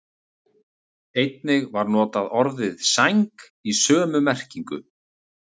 Einnig var notað orðið sæng í sömu merkingu.